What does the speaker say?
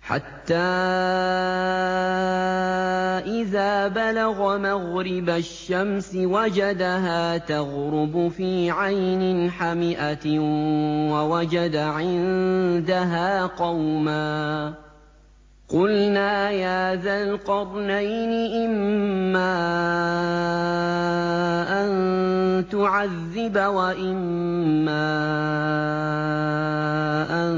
حَتَّىٰ إِذَا بَلَغَ مَغْرِبَ الشَّمْسِ وَجَدَهَا تَغْرُبُ فِي عَيْنٍ حَمِئَةٍ وَوَجَدَ عِندَهَا قَوْمًا ۗ قُلْنَا يَا ذَا الْقَرْنَيْنِ إِمَّا أَن تُعَذِّبَ وَإِمَّا أَن